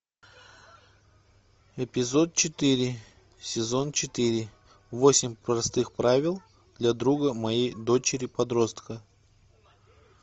эпизод четыре сезон четыре восемь простых правил для друга моей дочери подростка